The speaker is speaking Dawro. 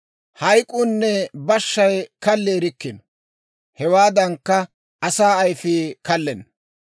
Hayk'uunne bashshay kalli erikkino; hewaadankka, asaa ayfii kallenna.